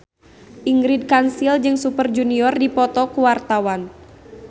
Ingrid Kansil jeung Super Junior keur dipoto ku wartawan